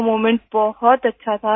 वो मोमेंट बहुत अच्छा था